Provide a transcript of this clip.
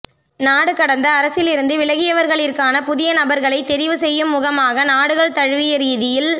நாடு கடந்த அரசில் இருந்து விலகியவர்களிர்க்கான புதிய நபர்களை தெரிவு செய்யும் முகமாக நாடுகள் தழுவிய ரீதியில்